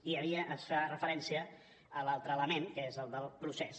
i es fa referència a l’altre element que és el del procés